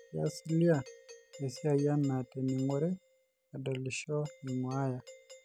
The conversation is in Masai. keas cilia esiai anaa tening'ore, adolisho, aing'uaya